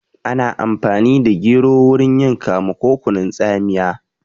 Ana amfani da gero wurin yin kamu ko kunun tsamiya